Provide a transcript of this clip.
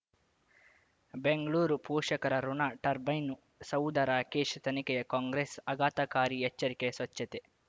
ಬೆಂಗಳೂರು ಪೋಷಕರಋಣ ಟರ್ಬೈನು ಸೌಧ ರಾಕೇಶ್ ತನಿಖೆಯ ಕಾಂಗ್ರೆಸ್ ಆಘಾತಕಾರಿ ಎಚ್ಚರಿಕೆ ಸ್ವಚ್ಛತೆ